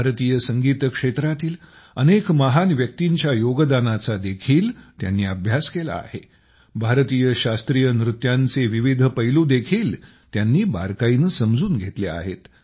भारतीय संगीत क्षेत्रातील अनेक महान व्यक्तींच्या योगदानाचा देखील त्यांनी अभ्यास केला आहे भारतातील शास्त्रीय नृत्यांचे विविध पैलू देखील त्यांनी बारकाईने समजून घेतले आहेत